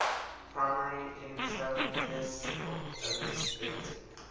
primary intravenous anesthetic